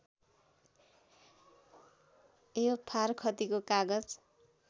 यो फारखतीको कागज